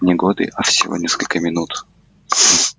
не годы а всего несколько минут